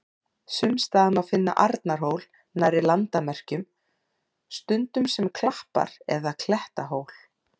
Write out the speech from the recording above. Sums staðar má finna Arnarhól nærri landamerkjum, stundum sem klappar- eða klettahól.